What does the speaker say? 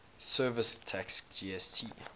services tax gst